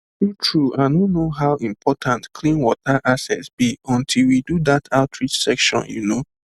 truetrue i no know how important clean water access be until we do that outreach session you know